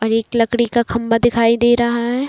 और एक लकड़ी का खम्भा दिखाई दे रहा है।